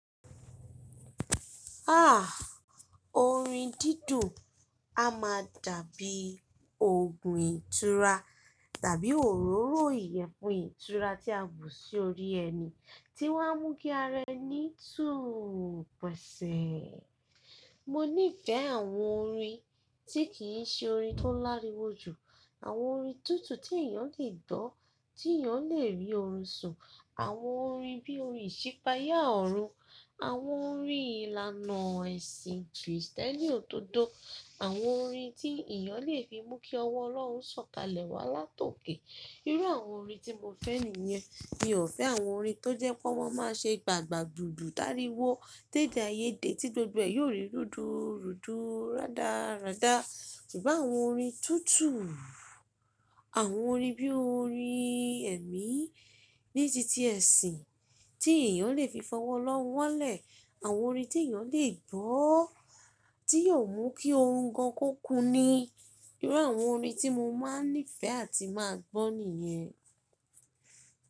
Orin dídùn, a máa dàbí òògùn ìtura tàbí òróró ìyẹ̀fun ìtura tí a bù sí orí ẹni tí wọ́n á mú kí ara ẹni tùú pẹ̀sẹ̀. Mo nífẹ̀ àwọn orin tí kì í ṣe orin tó lariwo jù, àwọn orin tútù tí èèyàn le gbọ́, tí èèyàn le rí orun sùn. Àwọn orin bí orin ìṣípayá ọ̀run, àwọn orin ìlànà ẹ̀sìn Kristẹni òdòdó, àwọn orin tí èèyàn lè fi mú kí ọwọ́ Ọlọ́run sọ̀kalẹ̀ wá látòké. Irú àwọn orin tí mo fẹ́ nìyẹn. Mi ò fẹ́ àwọn orin tó jẹ́ pé wọ́n máa ṣe gbàgbà gbùgbù áriwo, tedẹ́ ayé de tí gbogbo ẹ̀ yóò rí rúduùrúduù, rádárádá. Kì í bá àwọn orin tútù, àwọn orin bí orin ẹ̀mí ní ti ti ẹ̀sìn tí èèyàn lè fi fọwọ́ Ọlọ́run wálẹ̀, àwọn orin tí èèyàn lè gbọ́, tí yóò mú kí orun gan ko kun ni irú àwọn orin tí mo máa nífẹ̀ẹ́ àti máa gbọ́ nìyẹn.